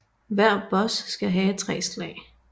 Hver boss skal have tre slag